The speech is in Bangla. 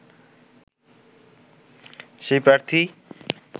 সেই প্রার্থী